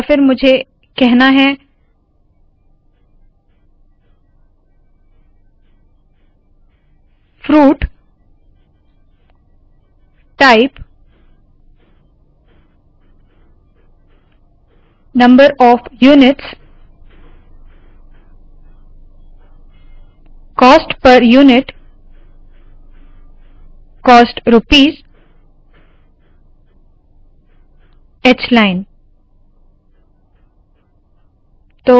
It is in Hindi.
और फिर मुझे कहना है : fruit type number of units cost per unit cost rupees hलाइन